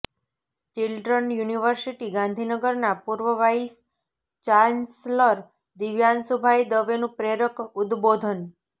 children university ગાંધીનગરના પૂર્વ vice chancellor દિવ્યાંશુભાઈ દવેનું પ્રરેક ઉદબોધન